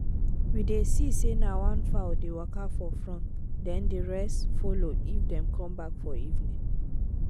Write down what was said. we dey see say na one fowl dey waka for front then the rest follow if them dey come back for evening.